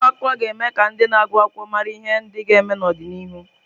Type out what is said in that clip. Akwụkwọ akụkọ ga-eme ka ndị na-agụ akwụkwọ mara ihe ndị ga-eme n'ọdịnihu.